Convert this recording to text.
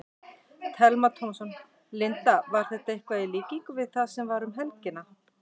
Telma Tómasson: Linda, var þetta eitthvað í líkingu við það sem var um helgina?